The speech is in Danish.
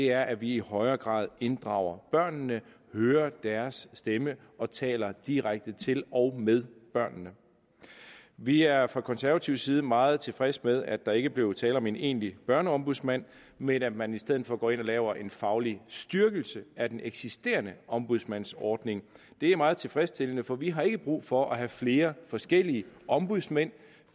er at vi i højere grad inddrager børnene hører deres stemme og taler direkte til og med børnene vi er fra konservativ side meget tilfredse med at der ikke blev tale om en egentlig børneombudsmand men at man i stedet for går ind og laver en faglig styrkelse af den eksisterende ombudsmandsordning det er meget tilfredsstillende for vi har ikke brug for at have flere forskellige ombudsmænd